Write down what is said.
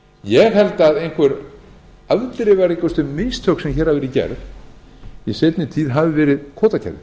ég held að einhver afdrifaríkustu mistök sem hér hafa verið gerð í seinni tíð hafi verið kvótakerfið